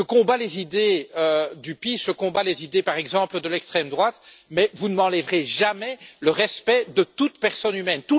Je combats les idées du PiS, je combats les idées, par exemple, de l'extrême droite, mais vous ne m'enlèverez jamais le respect de toute personne humaine.